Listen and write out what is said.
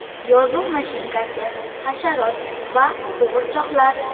Yozuv mashinkasi, hasharot va qo‘g‘irchoqlar.